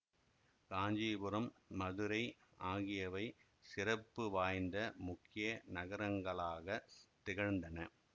காஞ்சிபுரம் மதுரை ஆகியவை சிறப்பு வாய்ந்த முக்கிய நகரங்களாகத் திகழ்ந்தன